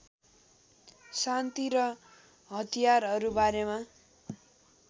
शान्ति र हतियारहरूबारेमा